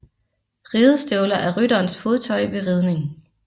Ridestøvler er rytterens fodtøj ved ridning